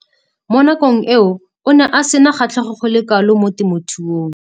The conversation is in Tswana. Mo nakong eo o ne a sena kgatlhego go le kalo mo temothuong.